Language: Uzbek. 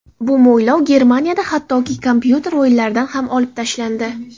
Bu mo‘ylov Germaniyada hattoki kompyuter o‘yinlaridan ham olib tashlandi.